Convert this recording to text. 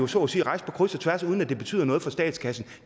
så at sige rejse på kryds og tværs uden at det betyder noget for statskassen